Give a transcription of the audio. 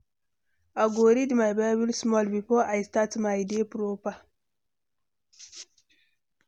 I go read my Bible small before I start my day proper.